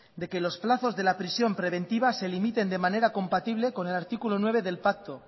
de que los plazos de la prisión preventiva se limiten de manera compatible con el artículo nueve del pacto